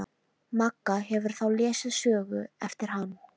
Magga hefur þá lesið sögu eftir hann.